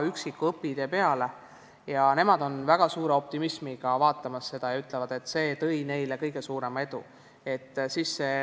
Nemad vaatavad seda väga suure optimismiga ja ütlevad, et see on neile kõige suuremat edu toonud.